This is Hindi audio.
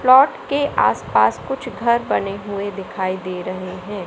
प्लॉट के आसपास कुछ घर बने हुए दिखाई दे रहे है।